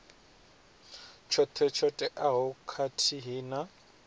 tshoṱhe tsho teaho khathihi na